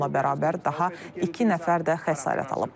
Onunla bərabər daha iki nəfər də xəsarət alıb.